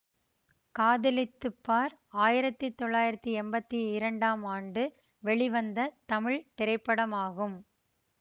காதலித்து பார் ஆயிரத்தி தொள்ளாயிரத்தி எம்பத்தி இரண்டாம் ஆண்டு வெளிவந்த தமிழ் திரைப்படமாகும்